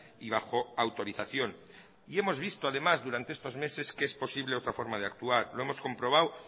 y bajo autorización y hemos visto además durante estos meses que es posible otra forma de actuar lo hemos comprobado